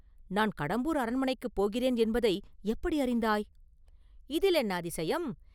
நான் கடம்பூர் அரண்மனைக்குப் போகிறேன் என்பதை எப்படி அறிந்தாய்?” “இதில் என்ன அதிசயம்?